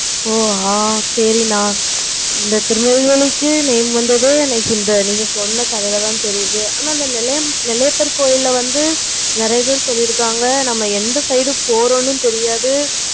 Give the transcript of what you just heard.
ஓ ஆஹ் சரி நா இந்த திருநெல்வேலிக்கு name வந்தது நீங்க சொன்ன கதைல தான் எனக்கு தெரியும். ஆனா அந்த நெல்லையப்பர் கோவில்ல நெறைய பேரு சொல்லிருக்காங்க. நம்ம எந்த side போறோம்னு தெரியாது.